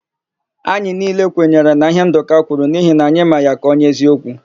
Anyị niile kwenyere na íhé Ndụka kwuru n'ihi na anyị mara ya ka onye eziokwu.